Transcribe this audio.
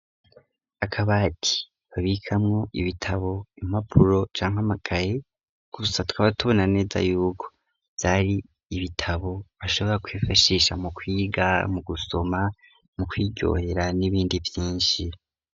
Akabati babikamwo ibitabo impapuro canke amakaye gusa twaba tubona neza yuko vyari ibitabo bashobora kwifashisha mu kwiga mu gusoma mu kwirohera n'ibindi vyinshi.